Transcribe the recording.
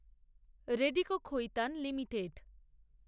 Radico Khaitan limited